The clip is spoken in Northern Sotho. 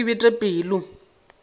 ya re ke bete pelo